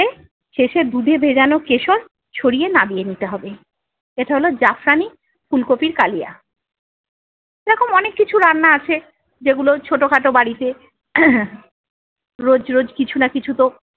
শেষে দুধে ভেজানো কেশর ছড়িয়ে নাবিয়ে নিতে হবে। এটা হলো জাফরানি ফুলকপির কালিয়া। এরকম অনেক কিছু রান্না আছে যেগুলো ছোট খাটো বাড়িতে রোজ রোজ কিছু না কিছু তো-